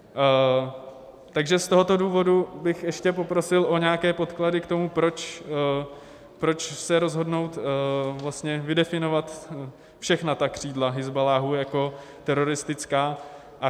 Takže z tohoto důvodu bych ještě poprosil o nějaké podklady k tomu, proč se rozhodnout vlastně vydefinovat všechna ta křídla Hizballáhu jako teroristická.